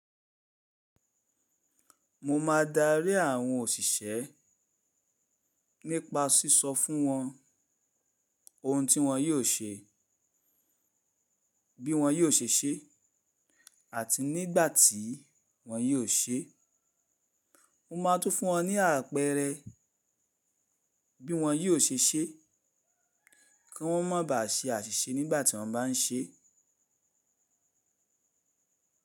Mo máa darí àwọn òsìsẹ́ nípa sísọ fún wọn oun tí wọn yóò ṣe, bí wọn yóò ṣe ṣé, àti nígbà tí wọn yóò ṣe é. Mo máa tún fún wọn ní àpẹẹrẹ bí wọn yóò ṣe ṣé, kí wọ́n má ba à ṣe àṣìṣe nígbà tí wọ́n bá ń se é.